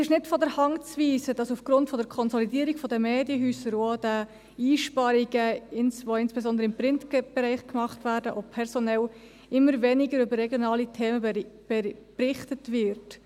Es ist nicht von der Hand zu weisen, dass aufgrund der Konsolidierung der Medienhäuser und auch der Einsparungen, die insbesondere im Print-Bereich, auch personell, gemacht werden, immer weniger über regionale Themen berichtet wird.